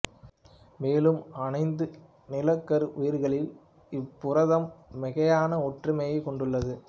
மேலும் அனைந்து நிலைகரு உயிர்களில் இப்புரதம் மிகையான ஒற்றுமையேய் கொண்டுள்ளது